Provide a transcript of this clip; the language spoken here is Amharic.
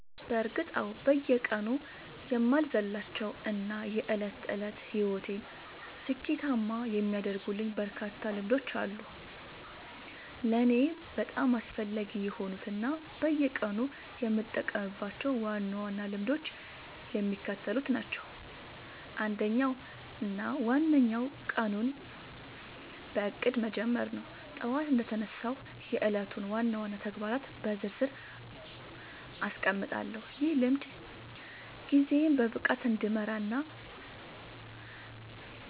በእርግጥ አዎ፤ በየቀኑ የማልዘልላቸው እና የዕለት ተዕለት ሕይወቴን ስኬታማ የሚያደርጉልኝ በርካታ ልምዶች አሉ። ለእኔ በጣም አስፈላጊ የሆኑት እና በየቀኑ የምጠብቃቸው ዋና ዋና ልምዶች የሚከተሉት ናቸው፦ አንደኛው እና ዋነኛው ቀኑን በእቅድ መጀመር ነው። ጠዋት እንደተነሳሁ የዕለቱን ዋና ዋና ተግባራት በዝርዝር አስቀምጣለሁ፤ ይህ ልምድ ጊዜዬን በብቃት እንድመራና